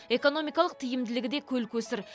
экономикалық тиімділігі де көл көсір